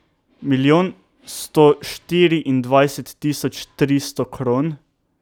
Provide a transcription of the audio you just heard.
Milijon sto štiriindvajset tisoč tristo kron.